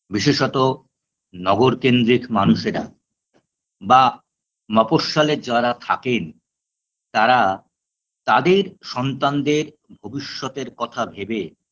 বিশেষত নগরকেন্দ্রিক মানুষেরা বা মফঃস্বলে যারা থাকেন তারা তাদের সন্তানদের ভবিষ্যতের কথা ভেবে